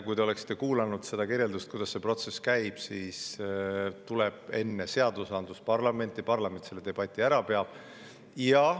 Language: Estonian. Kui te oleksite kuulanud seda kirjeldust, kuidas see protsess käib, siis, et enne tuleb seadus parlamenti ja parlament selle debati ära peab.